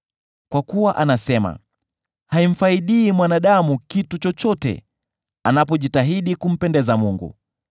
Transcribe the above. Kwa kuwa anasema, ‘Haimfaidi mwanadamu kitu chochote anapojitahidi kumpendeza Mungu.’